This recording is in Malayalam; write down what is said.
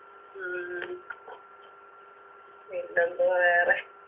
ഉം പിന്നെന്ത് വേറെ